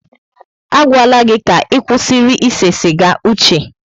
Agwala gị ka ịkwụsịrị ise siga, Uche!